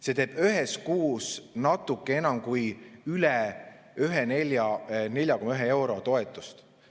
See teeb ühes kuus natuke enam kui 4 eurot ehk 4,1 eurot toetust.